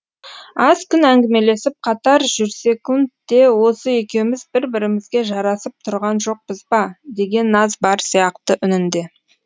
аз күн әңгімелесіп қатар жүрсек те осы екеуіміз бір бірімізге жарасып тұрған жоқпыз ба деген наз бар сияқты үнінде